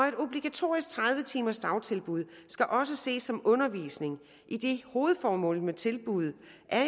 et obligatorisk tredive timers dagtilbud skal også ses som undervisning idet hovedformålet med tilbuddet